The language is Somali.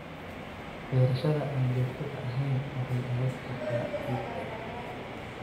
Beerashada aan joogtada ahayn waxay dhaawici kartaa ciidda.